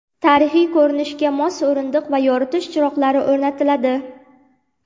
Tarixiy ko‘rinishga mos o‘rindiq va yoritish chiroqlari o‘rnatiladi.